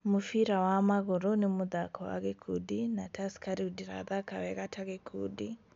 Mũbira wa magũrũ nĩ mũthako wa gĩkundi na Tursker rĩu ndĩrathaka wega ta gĩkundi